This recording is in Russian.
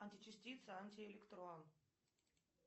античастица антиэлектрон